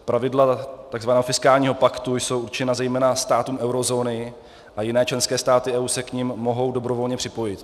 Pravidla takzvaného fiskálního paktu jsou určena zejména státům eurozóny a jiné členské státy EU se k nim mohou dobrovolně připojit.